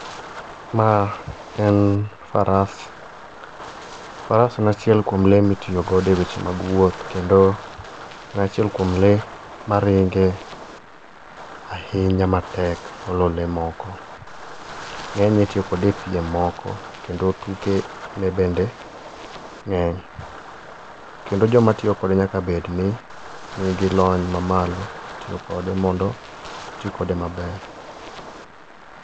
Ma en faras. Faras en achiel kuom le mitiyogo e weche mag wuoth, kendo en achiel kuom lee maringe ahinya matek moloyo lee moko. Ngényne itiyo kode e piem moko, kendo tuke ne bende ngény. Kendo joma tiyo kode nyaka bed ni nigi lony mamalo e tiyo kode, mondo gi ti kode maber.